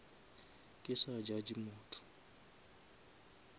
ke sa judge motho